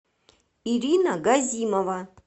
ирина газимова